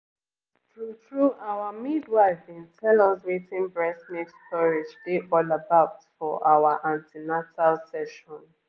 true-true our midwife been tell us wetin breast milk storage dey all about for our an ten atal sessions